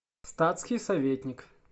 статский советник